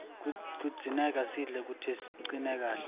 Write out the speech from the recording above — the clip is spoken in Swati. kudzingeka sidle kute sicine kahle